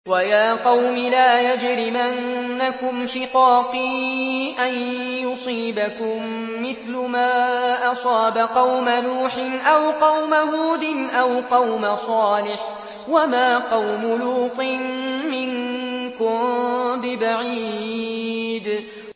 وَيَا قَوْمِ لَا يَجْرِمَنَّكُمْ شِقَاقِي أَن يُصِيبَكُم مِّثْلُ مَا أَصَابَ قَوْمَ نُوحٍ أَوْ قَوْمَ هُودٍ أَوْ قَوْمَ صَالِحٍ ۚ وَمَا قَوْمُ لُوطٍ مِّنكُم بِبَعِيدٍ